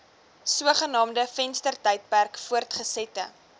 sogenaamde venstertydperk voortgesette